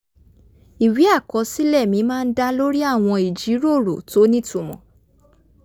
ìwé àkọsílẹ̀ mi máa ń dá lórí àwọn ìjíròrò tó nítumọ̀